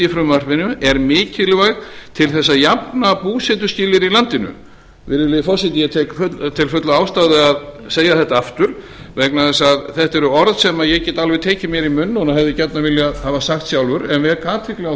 frumvarpinu er mikilvæg til þess að jafna búsetuskilyrði í landinu virðulegi forseti ég tel fulla ástæðu að segja þetta aftur vegna þess að þetta eru orð sem ég get alveg tekið mér í munn og hefði gjarnan viljað hafa sagt sjálfur en vek athygli á